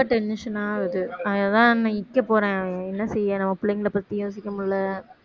ரொம்ப tension ஆகுது அதனாலதான் நான் நிக்க போறேன் என்ன செய்ய நம்ம பிள்ளைங்களைப் பத்தி யோசிக்க முடியலை